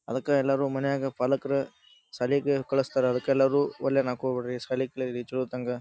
ಅದಕ್ಕ ಎಲ್ಲರು ಮನೆಯಾಗ ಪಾಲಕರು ಶಾಲೆಗ್ ಕಳುಹಿಸ್ತಾರ ಅದಕ್ಕ ಎಲ್ಲರು ಒಲ್ಲೆ ಅನ್ನಕ್ ಹೋಗಬ್ಯಾಡ್ರಿ ಶಾಲೆ ಕಲೀರಿ ಚಲೋ ಹೋತಂಗ.